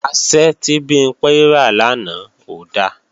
Asẹ́ tí Bimpé rà lánàá ò da